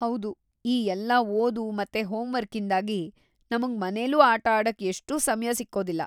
ಹೌದು, ಈ ಎಲ್ಲ ಓದು ಮತ್ತೆ ಹೋಂ ವರ್ಕಿಂದಾಗಿ ನಮ್ಗ್ ಮನೇಲೂ ಆಟ ಆಡಕ್‌ ಎಷ್ಟೂ ಸಮಯ ಸಿಕ್ಕೊದಿಲ್ಲ.